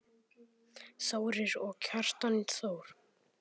Þórir og Kjartan Þór.